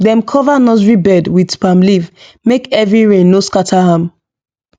dem cover nursery bed with palm leaf make heavy rain no scatter am